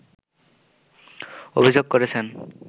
অভিযোগ করেছেন